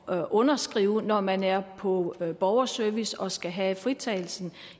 at underskrive når man er på borgerservice og skal have en fritagelse